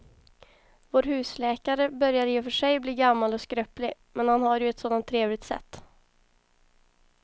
Vår husläkare börjar i och för sig bli gammal och skröplig, men han har ju ett sådant trevligt sätt!